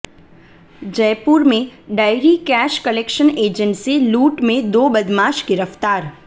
जयपुर में dairy cash collection agent से लूट में दो बदमाश गिरफ्तार